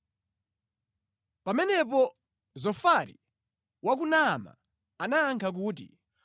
Pamenepo Zofari wa ku Naama anayankha kuti,